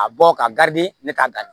A bɔ ka ne ka dan